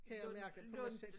Kan jeg mærke på mig selv